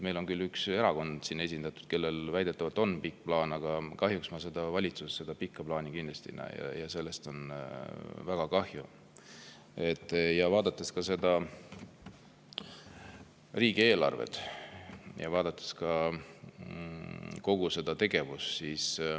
Meil on küll siin esindatud üks erakond, kellel väidetavalt on pikk plaan, aga valitsuses ma seda pikka plaani kindlasti ei näe ja sellest on väga kahju, vaadates riigieelarvet ja kogu seda tegevust.